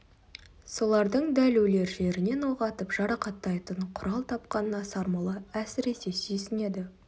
солардың дәл өлер жерінен оқ атып жарақаттайтын құрал тапқанына сармолла әсіресе сүйсінеді